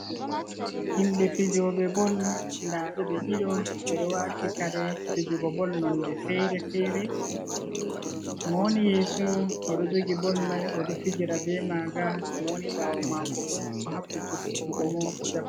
Himbe fijoɓe bol da ɓe ɓe ɗido ɓe ɗo wati kare fijugo bol nonɗe fere-fere mo woni yeso odo jogi bol mai odo fijira be maga mo woni bawo mako bo do habda jokkutugo mo jaba.